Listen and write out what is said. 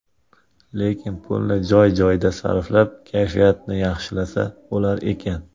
Lekin, pulni joy-joyida sarflab, kayfiyatni yaxshilasa bo‘lar ekan.